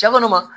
Cɛ kɔni ma